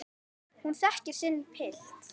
Hún þekkir sinn pilt.